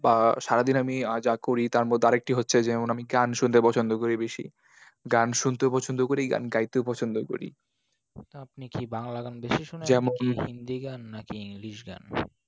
বা সারাদিন আমি আর যা করি তার মধ্যে আর একটি হচ্ছে যে, যেমন আমি গান শুনতে পছন্দ করি বেশি । গান শুনতেও পছন্দ করি, গান গাইতেও পছন্দ করি। আপনি কি বাংলা গান বেশি শোনেন? যেমন কি, হিন্দি গান নাকি english গান?